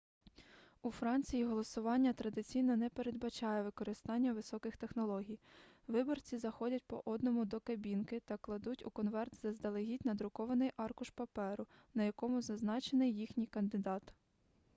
у франції голосування традиційно не передбачає використання високих технологій виборці заходять по одному до кабінки та кладуть у конверт заздалегідь надрукований аркуш паперу на якому зазначений їхній кандидат